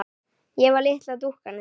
Ég var litla dúkkan þín.